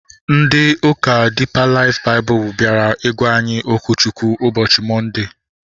Ndị ụka Diipa Laif Baịbụl bịara ịgwa anyị okwu Chukwu ụbọchị Mọnde